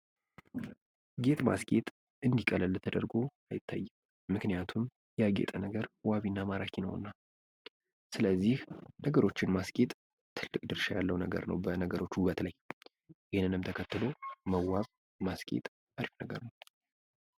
ጌጥ ማስጌጥ እንድህ ቀለል ተደርጎ አይታይም። ምክንያቱም ያጌጠ ነገር ዋቢ እና ማራኪ ነውና። ስለዚህ ነገሮችን ማስጌጥ ትልቅ ድርሻ ያለው ነገር ነው በነገሮች ውበት ላይ ።ይህንንም ተከትሎ መዋብ ማስጌጥ አሪፍ ነገር ነው።